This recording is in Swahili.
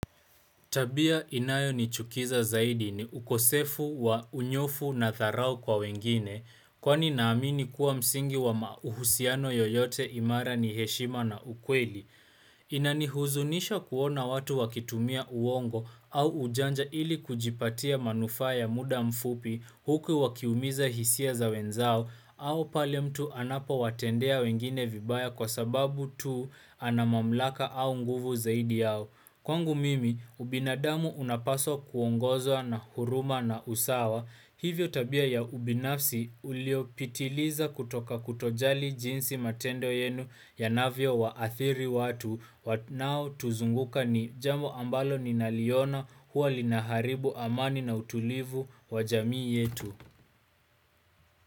Tabia inayo ni chukiza zaidi ni ukosefu wa unyofu na tharao kwa wengine kwani naamini kuwa msingi wa mauhusiano yoyote imara ni heshima na ukweli. Inanihuzunisha kuona watu wakitumia uongo au ujanja ili kujipatia manufa ya muda mfupi huku wakiumiza hisia za wenzao au pale mtu anapo watendea wengine vibaya kwa sababu tu ana mamlaka au nguvu zaidi yao. Kwangu mimi, ubinadamu unapaswa kuongozwa na huruma na usawa, hivyo tabia ya ubinafsi ulio pitiliza kutoka kutojali jinsi matendo yenu yanavyo waathiri watu, wanao tuzunguka ni jambo ambalo ninaliona huwa linaharibu amani na utulivu wa jamii yetu.